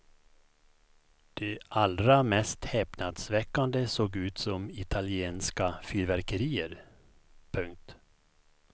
De allra mest häpnadsväckande såg ut som italienska fyrverkerier. punkt